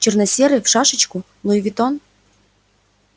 чёрно-серый в шашечку луи витон